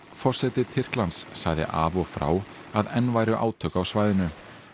forseti Tyrklands sagði af og frá að enn væru átök á svæðinu